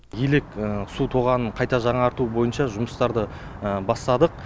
елек су тоғанын қайта жаңарту бойынша жұмыстарды бастадық